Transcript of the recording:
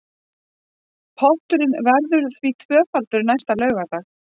Potturinn verður því tvöfaldur næsta laugardag